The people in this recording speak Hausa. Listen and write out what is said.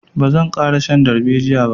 Ba zan ƙara shan darbejiya ba.